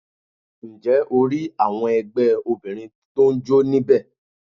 Ǹ jẹ́ o rí àwọn ẹgbẹ́ Obìnrin tó n jó ní bẹ̀